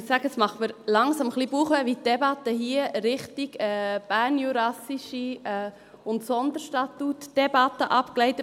Ich muss sagen, es bereitet mir langsam etwas Bauchschmerzen, wie die Debatte hier in Richtung bernjurassische und Sonderstatuts-Debatte abgleitet.